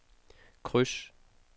kryds